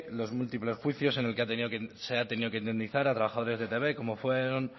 los múltiples juicios en el que se ha tenido que indemnizar a trabajadores de etb como fueron